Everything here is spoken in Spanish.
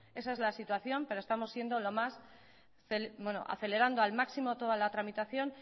esa es la situación pero estamos acelerando al máximo toda la tramitación